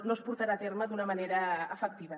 no es portarà a terme d’una manera efectiva